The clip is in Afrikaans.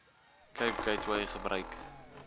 cape gateway gebruik